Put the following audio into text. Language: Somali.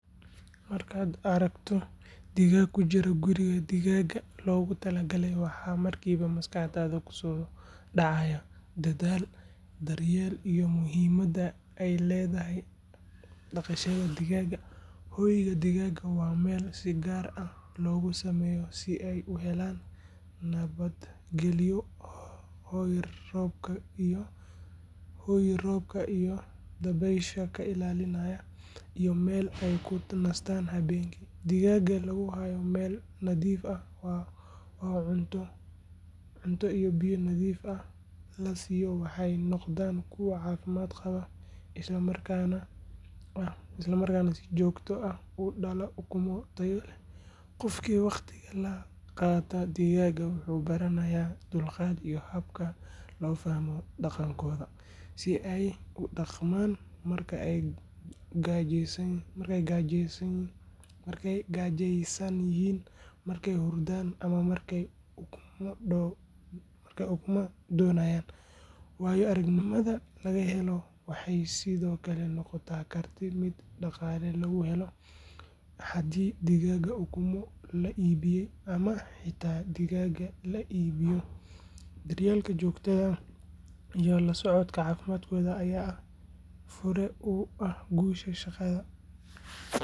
Markaad aragto digaag ku jira guri digaag loogu talagalay waxa markiiba maskaxdaada ku soo dhacaya dadaal, daryeel iyo muhiimadda ay leedahay dhaqashada digaagga. Hoyga digaagga waa meel si gaar ah loogu sameeyo si ay u helaan nabadgelyo, hoy roobka iyo dabaysha ka ilaalinaya, iyo meel ay ku nastaan habeenkii. Digaagga lagu hayo meel nadiif ah oo cunto iyo biyo nadiif ah la siiyo waxay noqdaan kuwo caafimaad qaba isla markaana si joogto ah u dhala ukumo tayo leh. Qofkii waqti la qaata digaagga wuxuu baranayaa dulqaad iyo habka loo fahmo dhaqankooda, sida ay u dhaqmaan marka ay gaajeysan yihiin, markay hurdaan ama markay ukumo doonayaan. Waayo-aragnimada laga helo waxay sidoo kale noqon kartaa mid dhaqaale lagu helo haddii digaagga ukumo la iibiyaa ama xitaa digaagga la iibiyo. Daryeel joogto ah iyo la socod caafimaadkooda ayaa fure u ah guusha shaqadan.